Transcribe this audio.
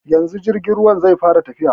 Yanzu jirgin ruwan zai fara tafiya.